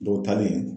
Dɔw ta bɛ yen